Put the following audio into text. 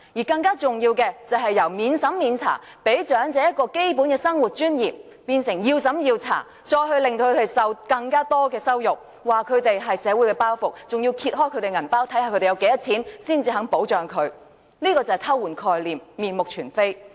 更重要的是，由免審查，給長者基本的生活尊嚴，變成要審查，令他們受到更多羞辱，指他們是社會的包袱，更揭開他們的荷包，看看他們有多少錢，才肯保障他們，這便是偷換概念，面目全非。